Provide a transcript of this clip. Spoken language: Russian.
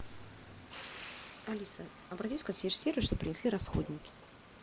алиса обратись в консьерж сервис чтобы принесли расходники